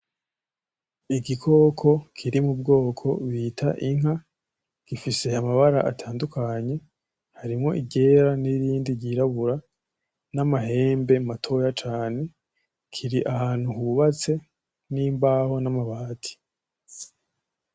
Igikoko kiri mu bwoko bita inka, gifise amabara atandukanye harimwo iryera; n'irindi ryirabura; n'amahembe matoya cane. Kiri ahantu hubatse n'imbaho n'amabati.